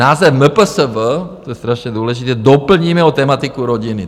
Název MPSV" - to je strašně důležité - "doplníme o tematiku rodiny."